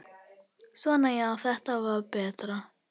Svona já, þetta var betra.